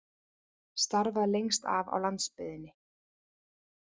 Starfað lengst af á landsbyggðinni